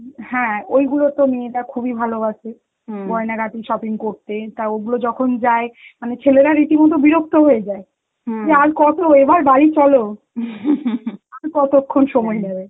হ্যাঁ ওইগুলো তো মেয়েরা খুবই ভালোবাসে, গয়নাগাটির shopping করতে, তা ওগুলো যখন যায় মানে ছেলেরা রীতিমতো বিরক্ত হয়ে যায়, কি আর কত? এবার বাড়ি চলো আর কতক্ষণ সময় নেবে?